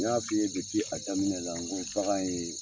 N y'a fi ye a daminɛ la, n ko bagan in ye.